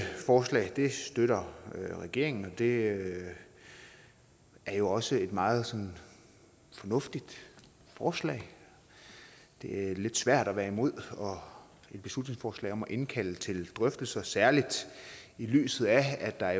forslag støtter regeringen og det er jo også et meget fornuftigt forslag det er lidt svært at være imod et beslutningsforslag om at indkalde til drøftelser særlig i lyset af at der